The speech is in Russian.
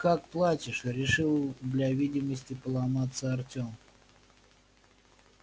как платишь решил для видимости поломаться артём